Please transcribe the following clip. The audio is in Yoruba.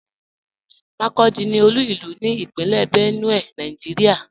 Makurdi ní olú ilú ní Ìpínlẹ̀ Benue, Nàìjíríà.